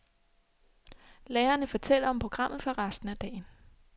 Lærerne fortæller om programmet for resten af dagen.